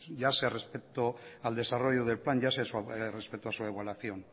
ya sea respecto al desarrollo del plan ya sea respecto a su evaluación